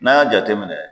N'an y'a jateminɛ